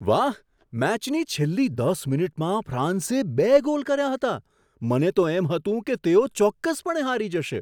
વાહ! મેચની છેલ્લી દસ મિનિટમાં ફ્રાન્સે બે ગોલ કર્યા હતા. મને તો એમ હતું કે તેઓ ચોક્કસપણે હારી જશે.